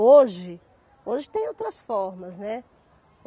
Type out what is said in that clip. Hoje, hoje tem outras formas, né.